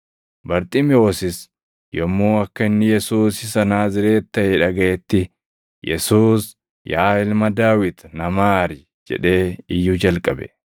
Barxiimewosis yommuu akka inni Yesuus isa Naazreeti taʼe dhagaʼetti, “Yesuus, yaa ilma Daawit na maari!” jedhee iyyuu jalqabe.